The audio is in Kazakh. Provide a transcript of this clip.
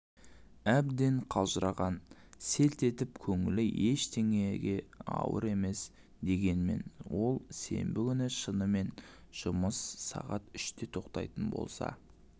әбден қалжыраған селт етіп көңілі ештеңеге ауар емес дегенмен ол сенбі күні шынымен жұмыс сағат үште тоқтайтын болса